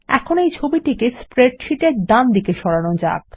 এখন এই ছবিটিকে স্প্রেডশীটের ডানদিকে সরান যাক